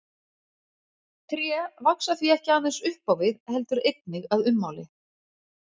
Tré vaxa því ekki aðeins upp á við heldur einnig að ummáli.